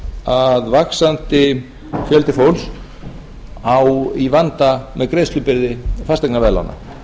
að vaxandi fjöldi fólks á í vanda með greiðslubyrði fasteignaveðlána